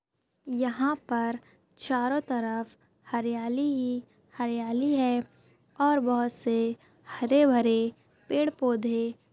यहाँ पर चारो तरफ हरियाली ही हरियाली है और बहुत से हरे भरे पेड पौधे--